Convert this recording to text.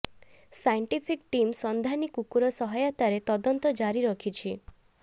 scientific team ସନ୍ଧାନୀ କୁକୁର ସହାୟତାରେ ତଦନ୍ତ ଜାରି ରଖିଛି